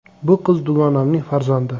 Bu qiz dugonamning farzandi.